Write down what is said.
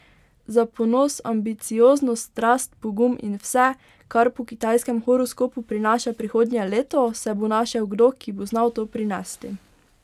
Za ponos, ambicioznost, strast, pogum in vse, kar po kitajskem horoskopu prinaša prihodnje leto, se bo našel kdo, ki bo znal to prinesti.